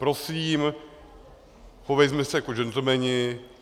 Prosím, chovejme se jako gentlemani.